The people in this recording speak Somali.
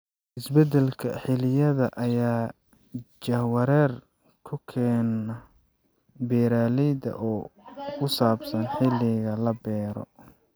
Isbeddelka xilliyada ayaa jahwareer ku keena beeralayda oo ku saabsan xilliga la beero.